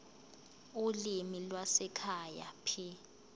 ulimi lwasekhaya p